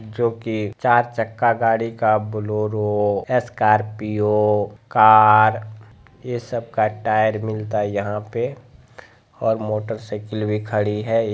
जोके चार चक्का गाड़ी का बोलेरो स्कॉर्पियो कार ए सब का टायर मिलता है यहा पे और मोटरसाइकल भी खड़ी है।